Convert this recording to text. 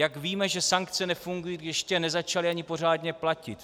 Jak víme, že sankce nefungují, když ještě nezačaly ani pořádně platit?